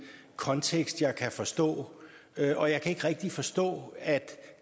kontekst jeg kan forstå og jeg kan ikke rigtig forstå at